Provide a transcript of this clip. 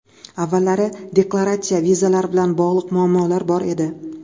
Avvallari deklaratsiya, vizalar bilan bog‘liq muammolar bor edi.